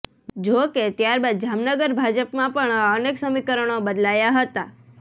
જો કે ત્યારબાદ જામનગર ભાજપમાં પણ અનેક સમીકરણો બદલાયા હતાં